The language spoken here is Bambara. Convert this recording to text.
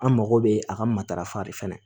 An mago bɛ a ka matarafa de fɛnɛ